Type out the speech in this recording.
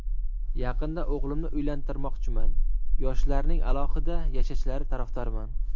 Yaqinda o‘g‘limni uylantirmoqchiman, yoshlarning alohida yashashlari tarafdoriman.